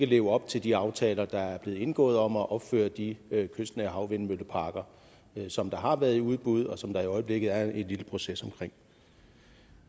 leve op til de aftaler der er blevet indgået om at opføre de kystnære havvindmølleparker som har været i udbud og som der i øjeblikket er en proces omkring